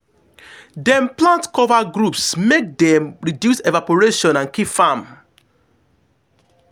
dem plant cover groups make dem reduce evarporation and keep farm.